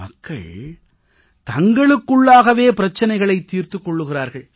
மக்கள் தங்களுக்குள்ளாகவே பிரச்சினைகளைத் தீர்த்துக் கொள்கிறார்கள்